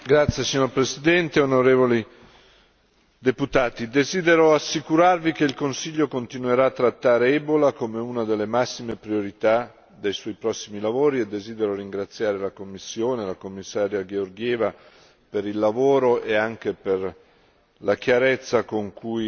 Signor Presidente, onorevoli deputati, desidero assicurarvi che il Consiglio continuerà a trattare l'ebola come una delle massime priorità dei suoi prossimi lavori e desidero ringraziare la Commissione e il Commissario Georgieva per il lavoro e anche per la chiarezza con cui,